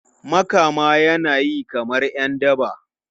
Makama yana yi kamar ’yan daba.